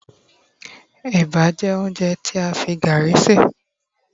eba jé ounjẹ ti a fi garri ṣe